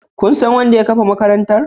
Kun san wanda ya kafa makarantar?